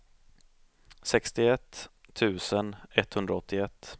sextioett tusen etthundraåttioett